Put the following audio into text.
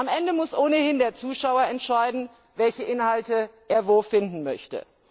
Am Ende muss ohnehin der Zuschauer entscheiden, welche Inhalte er wo finden möchte.